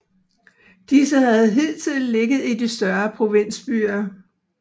Disse havde hidtil ligget i de større provinsbyer